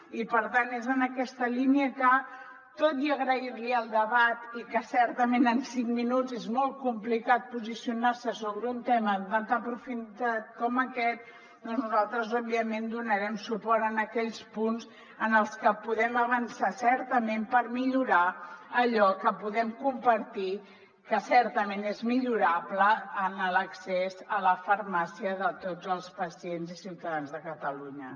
i per tant és en aquesta línia que tot i agrair li el debat i que certament en cinc minuts és molt complicat posicionar se sobre un tema amb tanta profunditat com aquest nosaltres òbviament donarem suport a aquells punts en els que podem avançar certament per millorar allò que podem compartir que certament és millorable en l’accés a la farmàcia de tots els pacients i ciutadans de catalunya